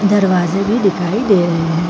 दरवाजे भी दिखाई दे रहे है।